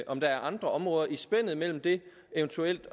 om der er andre områder i spændet mellem det eventuelt